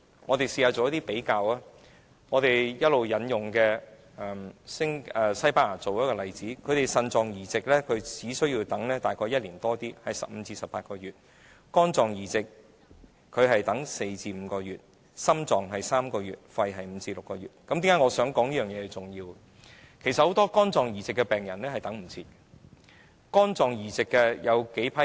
我們試試做比較，我們一直引用的西班牙作例子，當地等待腎臟移植的病人只需要輪候15至18個月；等待肝臟移植的病人只需輪候4至5個月；等待心臟移植的病人是輪候3個月；而等待肺部移植的病人輪候時間是5至6個月。